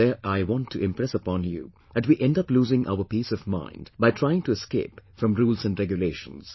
Today I want to impress upon you that we end up losing our peace of mind by trying to escape from rules and regulations